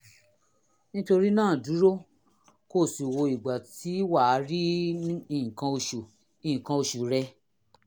nítorí náà dúró kó o sì wo ìgbà tí wà á rí nǹkan oṣù nǹkan oṣù rẹ